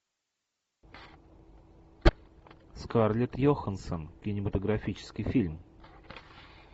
скарлетт йоханссон кинематографический фильм